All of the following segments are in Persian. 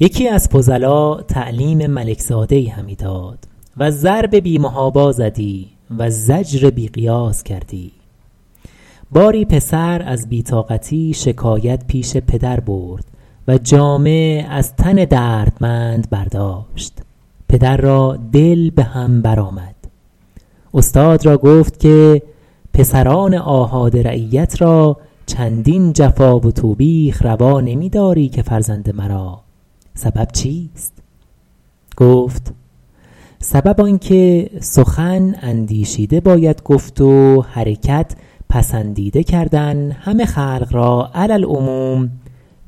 یکی از فضلا تعلیم ملک زاده ای همی داد و ضرب بی محابا زدی و زجر بی قیاس کردی باری پسر از بی طاقتی شکایت پیش پدر برد و جامه از تن دردمند برداشت پدر را دل به هم بر آمد استاد را گفت که پسران آحاد رعیت را چندین جفا و توبیخ روا نمی داری که فرزند مرا سبب چیست گفت سبب آن که سخن اندیشیده باید گفت و حرکت پسندیده کردن همه خلق را علی العموم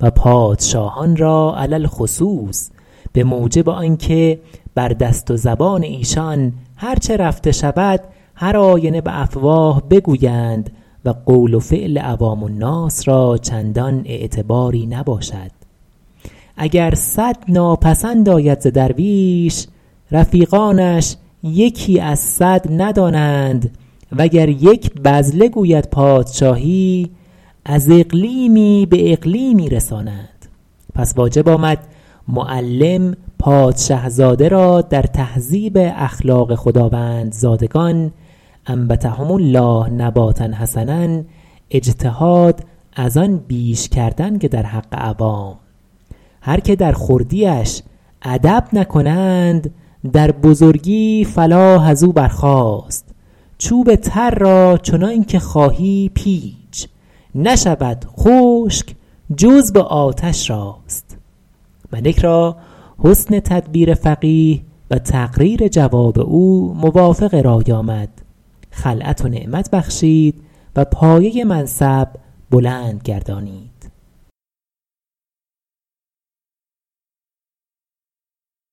و پادشاهان را علی الخصوص به موجب آنکه بر دست و زبان ایشان هر چه رفته شود هر آینه به افواه بگویند و قول و فعل عوام الناس را چندان اعتباری نباشد اگر صد ناپسند آید ز درویش رفیقانش یکی از صد ندانند وگر یک بذله گوید پادشاهی از اقلیمی به اقلیمی رسانند پس واجب آمد معلم پادشه زاده را در تهذیب اخلاق خداوندزادگان أنبتهم الله نباتا حسنا اجتهاد از آن بیش کردن که در حق عوام هر که در خردیش ادب نکنند در بزرگی فلاح از او برخاست چوب تر را چنان که خواهی پیچ نشود خشک جز به آتش راست ملک را حسن تدبیر فقیه و تقریر جواب او موافق رای آمد خلعت و نعمت بخشید و پایه منصب بلند گردانید